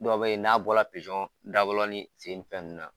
Dɔw be yen n'a bɔra dabɔlɔ ni sen ni fɛn nunnu na